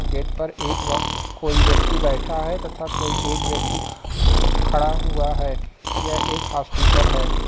Gate पर एक व कोई व्यक्ति बैठा है तथा कोई एक व्यक्ति खड़ा हुआ हैं यह एक हॉस्पिटल है।